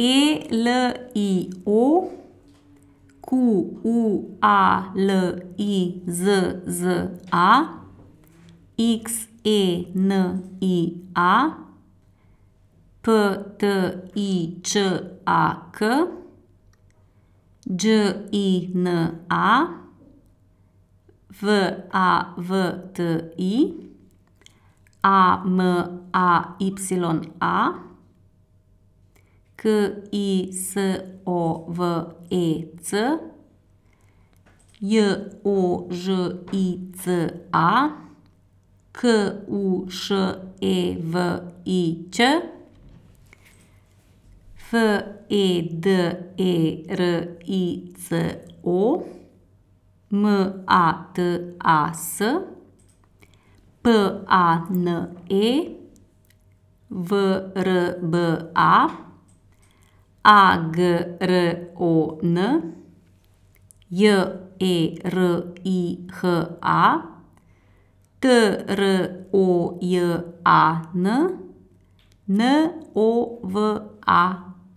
E L I O, Q U A L I Z Z A; X E N I A, P T I Č A K; Đ I N A, V A V T I; A M A Y A, K I S O V E C; J O Ž I C A, K U Š E V I Ć; F E D E R I C O, M A T A S; P A N E, V R B A; A G R O N, J E R I H A; T R O J A N, N O W A